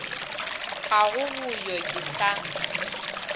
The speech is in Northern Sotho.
ga go boyo ke sa